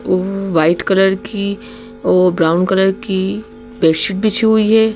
White colour की brown colour की bedsheet बिछी हुई है।